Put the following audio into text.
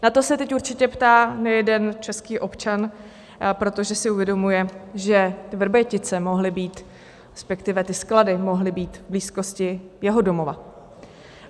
Na to se teď určitě ptá nejeden český občan, protože si uvědomuje, že Vrbětice mohly být, respektive ty sklady mohly být, v blízkosti jeho domova.